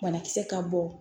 Banakisɛ ka bon